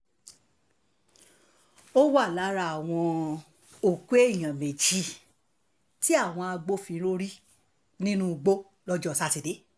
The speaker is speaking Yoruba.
ó wà lára àwọn òkú èèyàn méjì tí àwọn agbófinró rí nínú igbó lọ́jọ́ sátidé